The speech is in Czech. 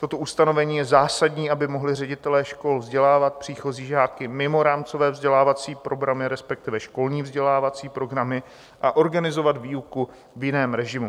Toto ustanovení je zásadní, aby mohli ředitelé škol vzdělávat příchozí žáky mimo rámcové vzdělávací programy, respektive školní vzdělávací programy, a organizovat výuku v jiném režimu.